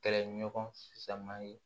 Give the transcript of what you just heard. Kɛlɛɲɔgɔn faman ye